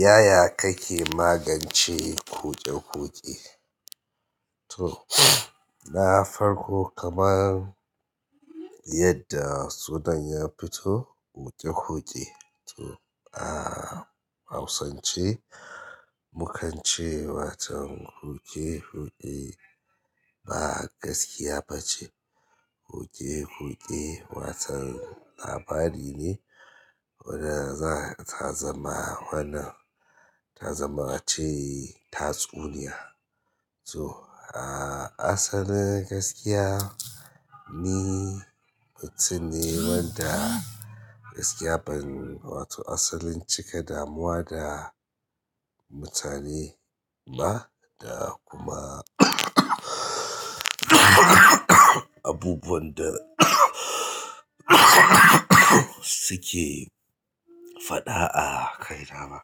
Yaya kake magance kuje kuje? To, na farko kamar yadda sunan ya fito kuje kuje. To, a hausance mukance watan kuje kuje ba gaskiya bace. Kuje kuje, watan labari ne wanda zama, ta zama wannan ta zama ace tatsuniya. To, a asalin gaskiya ni mutum ne wanda gaskiya ban wato asalin cika damuwa da mutane ba da kuma abubuwan da suke faɗa a kaina ba.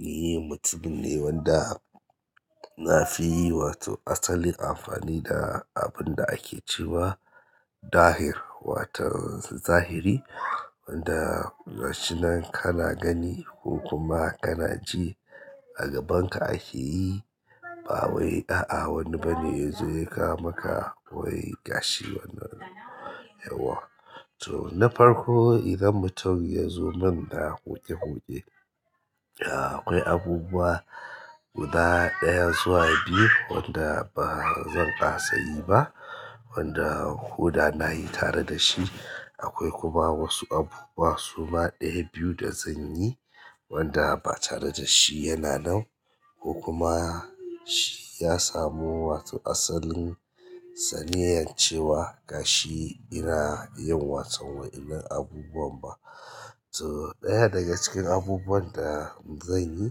Ni mutum ne wanda nafi wato asalin amfani da abinda ake cewa Dahir, watan zahiri wanda gashi nan kana gani ko kuma kana ji a gabanka akeyi bawai a'a wani bane ya kawo maka gashi wannan yauwa. To, na farko idan mutum yazo min da kuje kuje, akwai abubuwa guda ɗaya zuwa biyu wanda ba zan kasa yi ba wanda ko da nayi tare dashi. Akwai kuma wasu abubuwa suma ɗaya biyu da zanyi wanda ba tare da shi yana nan ko kuma shi ya samu wato asalin saniyyan cewa gashi ina yin watan waɗannan abubuwan ba. To, ɗaya daga cikin abubuwan da zan yi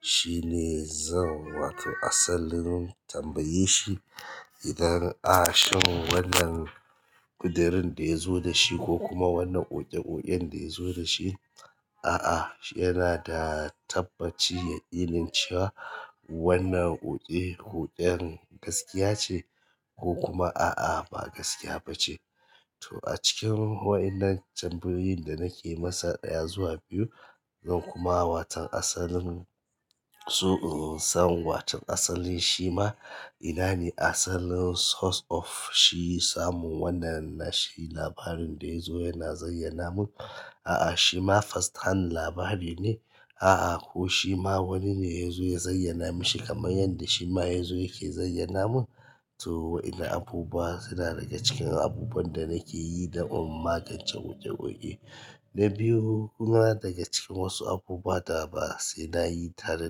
shine zan wato asalin tambaye shi idan a shin wannan ƙudurin da yazo da shi ko kuma wannan koke koken da yazo dashi, a'a, yanada tabbaci ya yakinin cewa wannan kuke kuken gaskiya ce ko kuma a'a ba gaskiya bace. To, acikin waɗannan tambayoyin da nake masa ɗaya zuwa biyu, zan kuma watan asalin, so in san watan asalin shima inane asalin source of shi samun wannan shi labarin da yazo yana zayyana mun. A'a, shima first hand labari ne? A'a, ko shima wannan ne yazo ya zayyana mishi kamar yadda shima yazo yake zayyana mun. To, waɗannan abubuwa suna daga cikin abubuwan da nake yi don magancen kuke kuke. Na biyu kuma daga cikin wasu abubuwa da ba sai nayi tare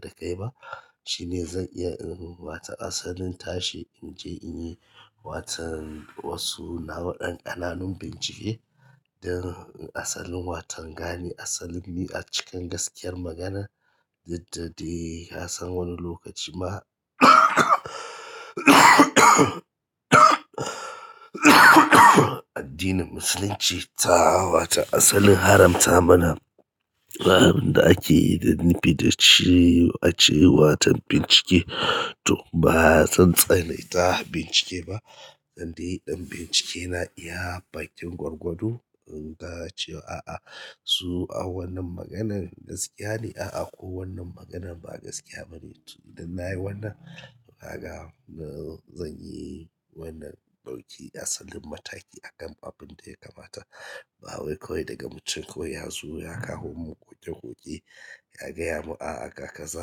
da kai ba shine zan iya in wato asalin tashi inje inyi watan wasu nau'o'in ƙananun bincike don asalin watan gane asalin me acikin gaskiyar maganan, yadda dai yasan wani lokaci ma addinin Musulunci ta wata asalin haramta mana abinda ake nufi dashi ake yi watan bincike. To bazan tsanaita bincike ba, dan dai in bincike na iya bakin gwargwado in ga cewa a'a, su a wannan maganan gaskiya ne a'a ko wannan maganan ba gaskiya bane. To, idan nayi wannan kaga na zanyi wannan ɓauki asalin mataki akan abunda ya kamata. Ba wai kawai daga mutum kawai yazo ya kawo mun kuke kuke ya gaya mun a'a haka kaza,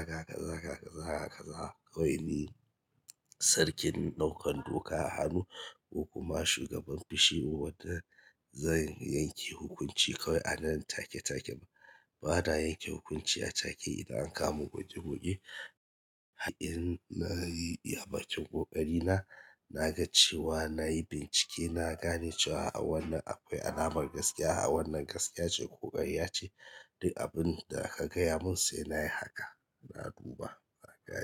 haka kaza, haka kaza, haka kaza. Kawai ni sarkin ɗaukan doka a hannu ko kuma shugaban fashi mu wadda zan yanke hukunci kawai a nan take take ba. Ba na yanke hukunci a take idan ankawo mun kuke kuke. In nayi iya bakin ƙoƙari na, na ga cewa nayi bincike, na gane cewa a'a wannan akwai alamar gaskiya, a wannan gaskiya ce ko ƙarya ce. Duk abinda ka gaya mun sai nayi haka, na duba haka haka.